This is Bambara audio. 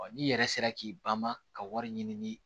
n'i yɛrɛ sera k'i banma ka wari ɲini